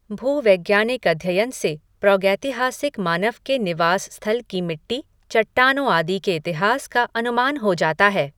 भूवैज्ञानिक अध्ययन से प्रागैतिहासिक मानव के निवास स्थल की मिट्टी, चट्टानों आदि के इतिहास का अनुमान हो जाता है।